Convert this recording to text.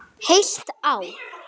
Heilt ár.